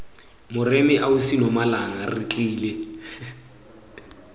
moremi ausi nomalanga re tlile